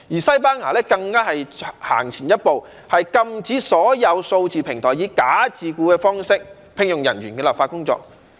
西班牙更走前一步，展開了禁止所有數字平台以"假自僱"的方式聘用人員的立法工作。